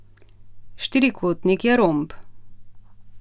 Štirikotnik je romb.